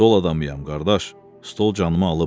Stol adamıyam qardaş, stol canımı alıb.